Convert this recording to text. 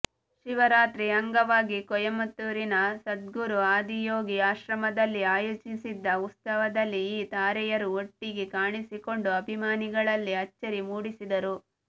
ಶಿವರಾತ್ರಿ ಅಂಗವಾಗಿ ಕೊಯಮತ್ತೂರಿನ ಸದ್ಗುರು ಆದಿಯೋಗಿ ಆಶ್ರಮದಲ್ಲಿ ಆಯೋಜಿಸಿದ್ದ ಉತ್ಸವದಲ್ಲಿ ಈ ತಾರೆಯರು ಒಟ್ಟಿಗೆ ಕಾಣಿಸಿಕೊಂಡು ಅಭಿಮಾನಿಗಳಲ್ಲಿ ಅಚ್ಚರಿ ಮೂಡಿಸಿದರು